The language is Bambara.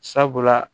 Sabula